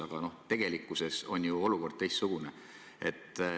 Aga tegelikkuses on ju olukord teistsugune.